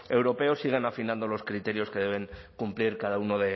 europeo siguen afinando los criterios que deben cumplir cada uno